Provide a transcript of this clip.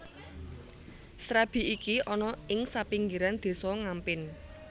Srabi iki ana ing sapinggiran Désa Ngampin